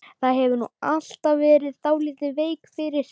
Þú hefur nú alltaf verið dálítið veik fyrir